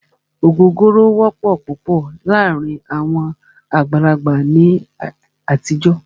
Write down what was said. Ògógóró wọ́pọ̀ púpọ̀ láàárín àwọn àgbàlagbà ní àtijọ́.